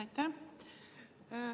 Aitäh!